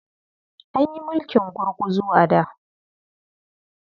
An yi mulkin gurguzu a da.